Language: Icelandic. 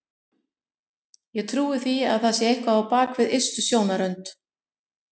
Ég trúi því að það sé eitthvað á bak við ystu sjónarrönd.